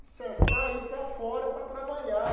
Saí para fora para trabalhar.